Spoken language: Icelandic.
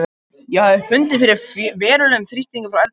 Ég hafði fundið fyrir verulegum þrýstingi frá Erni og félögum.